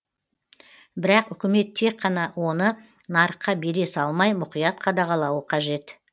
бірақ үкімет тек қана оны нарыққа бере салмай мұқият қадағалауы қажет